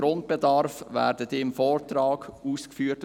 Im Grundbedarf werden sie im Vortrag ausgeführt.